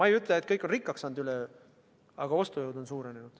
Ma ei ütle, et kõik on üle öö rikkaks saanud, aga ostujõud on suurenenud.